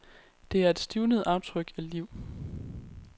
Det er et stivnet aftryk af liv.